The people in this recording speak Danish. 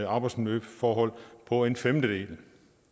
arbejdsmiljøforhold på en femtedel